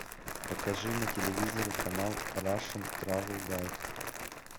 покажи на телевизоре канал рашен травел гайд